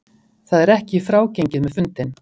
Það er ekki frágengið með fundinn